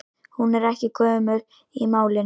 Hún er ekki gömul í málinu.